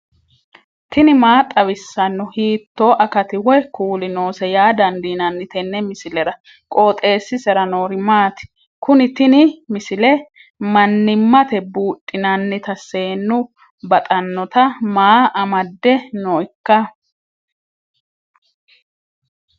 tini maa xawissanno ? hiitto akati woy kuuli noose yaa dandiinanni tenne misilera? qooxeessisera noori maati? kuni tini misile mannimate buudhinannita seennu baxannota maa amadde nooikka